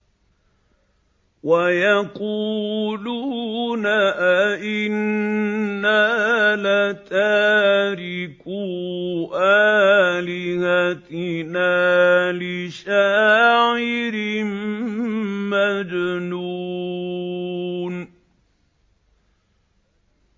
وَيَقُولُونَ أَئِنَّا لَتَارِكُو آلِهَتِنَا لِشَاعِرٍ مَّجْنُونٍ